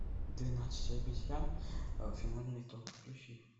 двенадцать обезьян финальный итог включи